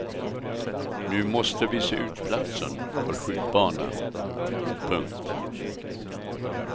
Nu måste vi se ut platsen för skjutbanan. punkt